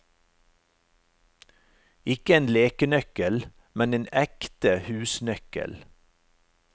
Ikke en lekenøkkel, men en ekte husnøkkel.